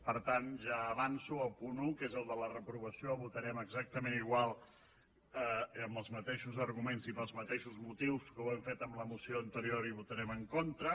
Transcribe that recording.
per tant ja avanço que al punt un que és el de la reprovació votarem exactament igual amb els mateixos arguments i pels mateixos motius que ho hem fet en la moció anterior hi votarem en contra